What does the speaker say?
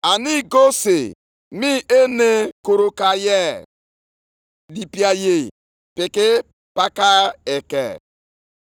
Ya mere, nʼihi unu ka eluigwe ji jide igirigi ha, ala ejidekwala ihe omume nke ubi.